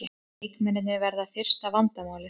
Leikmennirnir verða fyrsta vandamálið